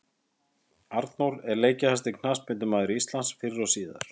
Arnór er leikjahæsti knattspyrnumaður Íslands fyrr og síðar.